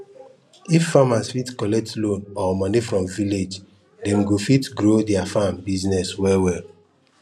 if farmers fit collect loan or money from village dem go fit grow their farm business well well